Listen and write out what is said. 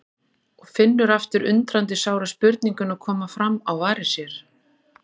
Og finnur aftur undrandi sára spurninguna koma fram á varir sér